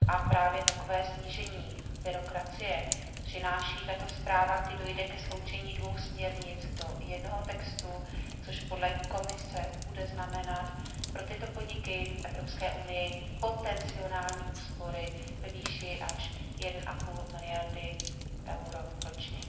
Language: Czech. Právě takové snížení byrokracie přináší tato zpráva, kdy dojde ke sloučení dvou směrnic do jednoho textu, což podle Komise bude znamenat pro tyto podniky v Evropské unii potenciální úspory ve výši až 1,5 miliardy eur ročně.